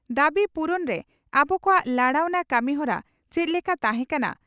ᱫᱟᱵᱤ ᱯᱩᱨᱩᱱᱨᱮ ᱟᱵᱚ ᱠᱚᱣᱟᱜ ᱞᱟᱲᱟᱣᱱᱟ ᱠᱟᱹᱢᱤᱦᱚᱨᱟ ᱪᱮᱫ ᱞᱮᱠᱟ ᱛᱟᱦᱮᱸᱠᱟᱱᱟ?